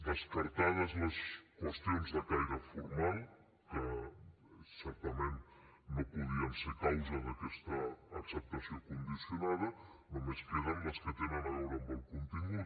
descartades les qüestions de caire formal que certament no podien ser causa d’aquesta acceptació condicionada només queden les que tenen a veure amb el contingut